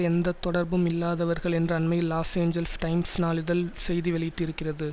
எந்த தொடர்பும் இல்லாதவர்கள் என்று அண்மையில் லாஸ் ஏஞ்செல்ஸ் டைம்ஸ்நாளிதழ் செய்தி வெளியிட்டிருக்கிறது